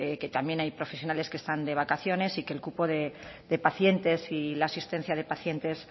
que también hay profesionales que están de vacaciones y que el cupo de pacientes y la asistencia de pacientes